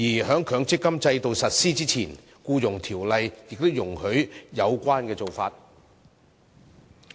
在強積金制度實施之前，《僱傭條例》亦容許有關做法。